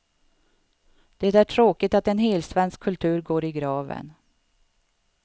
Det är tråkigt att en helsvensk kultur går i graven.